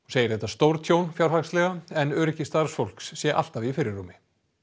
segir þetta stórtjón fjárhagslega en öryggi starfsfólks sé alltaf í fyrirrúmi